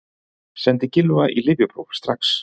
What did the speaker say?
Sendið Gylfa í lyfjapróf strax!